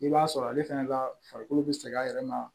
I b'a sɔrɔ ale fɛnɛ ka farikolo be sɛgɛn a yɛrɛ ma